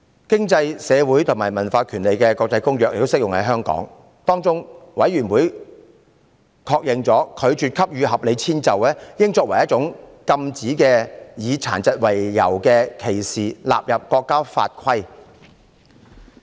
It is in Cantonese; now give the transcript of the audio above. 《經濟、社會與文化權利國際的公約》亦適用於香港，有關委員會確認，應把拒絕給予合理遷就作為一種予以禁止、以殘疾為由的歧視納入國家法規。